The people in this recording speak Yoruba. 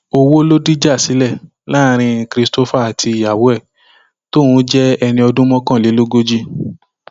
owó ló dìjà sílẹ láàrin christopher àti ìyàwó ẹ tóun jẹ ẹni ọdún mọkànlélógójì